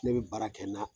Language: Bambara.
Ne bɛ baara kɛ n'a